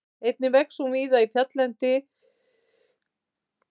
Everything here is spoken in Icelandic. Einnig vex hún víða í fjalllendu svæði Austur-Evrópu og í Ölpunum.